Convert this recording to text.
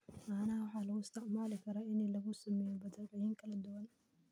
Caanaha waxaa loo isticmaali karaa in lagu sameeyo badeecooyin kala duwan.